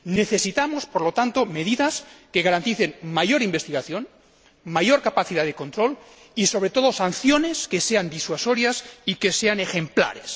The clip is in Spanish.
Necesitamos, por lo tanto, medidas que garanticen más investigación, mayor capacidad de control y, sobre todo, sanciones que sean disuasorias y que sean ejemplares.